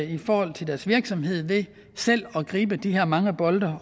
i forhold til deres virksomhed ved selv at gribe de her mange bolde